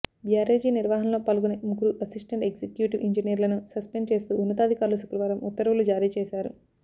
barrage నిర్వహణలో పాల్గొనే ముగ్గురు అసిస్టెంట్ ఎగ్జిక్యూటివ్ ఇంజనీర్లను సస్పెండ్ చేస్తూ ఉన్నతాధికార్లు శుక్రవారం ఉత్తర్వులు జారీచేశారు